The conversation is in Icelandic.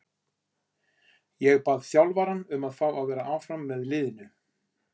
Ég bað þjálfarann um að fá að vera áfram með liðinu.